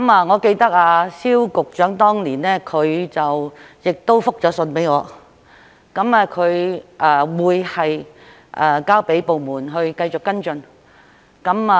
我記得蕭局長當年亦覆信給我，表示他會交給部門繼續跟進。